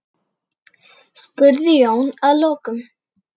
spurði Jón að lokum.